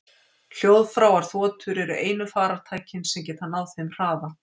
Hljóðfráar þotur eru einu farartækin sem geta náð þeim hraða.